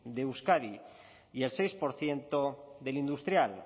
de euskadi y el seis por ciento del industrial